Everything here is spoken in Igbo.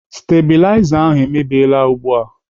Stabiliza ahụ emebiela ugbu a.